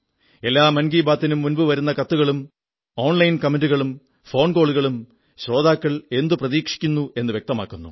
എല്ലാ മൻ കീ ബാതിനും മുമ്പ് വരുന്ന കത്തുകളും ഓൺ ലൈൻ കമന്റുകളും ഫോൺകോളുകളും ശ്രോതാക്കൾ എന്തു പ്രതീക്ഷിക്കുന്നുവെന്നു വ്യക്തമാക്കുന്നു